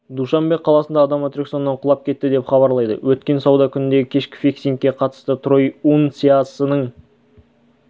душанбе қаласында адам атракционнан құлап кетті деп хабарлайды өткен сауда күніндегі кешкі фиксингке қатысты трой унциясының